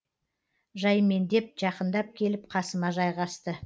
жаймендеп жақындап келіп қасыма жайғасты